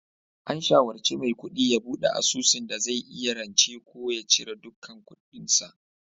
An shawarci Maikudi ya bude asusun dai zai iya rance ko ya cire duk kudin sa